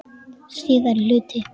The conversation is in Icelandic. Síðari hluti